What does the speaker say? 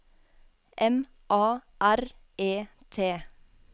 M A R E T